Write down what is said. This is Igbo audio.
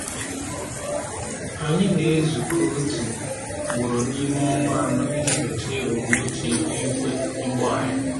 Anyị na-ezukọ otu ugboro n’ime ọnwa anọ iji nyochaa ebumnuche ihu igwe ugbo anyị.